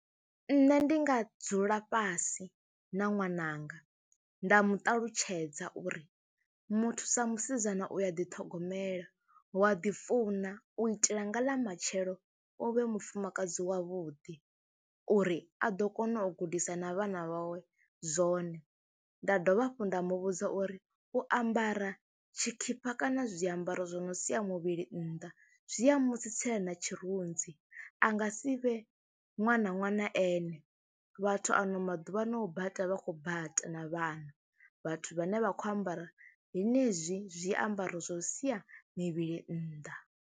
Nṋe ndi nga dzula fhasi na ṅwananga nda mu ṱalutshedza uri muthu sa musidzana u ya ḓithogomela, wa ḓifuna u itela nga ḽa matshelo u vhe mufumakadzi wavhuḓi uri a ḓo kona u gudisa na vhana vhawe zwone. Nda dovha hafhu nda mu vhudza uri u ambara tshikhipa kana zwiambaro zwo no sia muvhili nnḓa zwi a musi tsitsela na tshirunzi a nga si vhe ṅwana ṅwana ene, vhathu ano maḓuvha no bata vha khou bata na vhana vhathu vhane vha khou ambara henezwi zwiambaro zwo sia mivhili nnḓa.